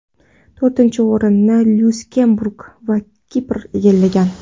To‘rtinchi o‘rinni Lyuksemburg va Kipr egallagan.